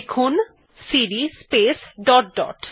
লিখুন CD space dot dot